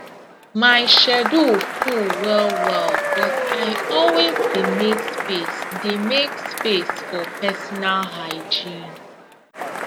my schedule full well well but i always dey make space dey make space for personal hygiene